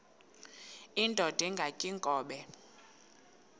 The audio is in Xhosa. indod ingaty iinkobe